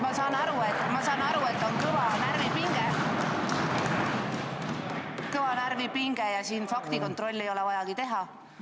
Ma saan aru, et on kõva närvipinge ja faktikontrolli ei ole vajagi teha.